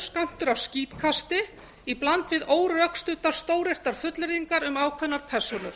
skammtur af skítkasti í bland við órökstuddar stóryrtar fullyrðingar um ákveðnar persónur